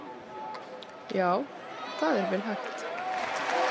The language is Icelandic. Já, það er vel hægt!